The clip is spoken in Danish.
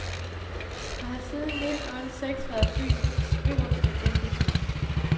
Og har siden nitten otte seks været byens øverste embedsmand.